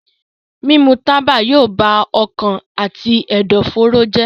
Mímu tábà yóò bá ọkàn àti ẹ̀dọ̀fóró jẹ́.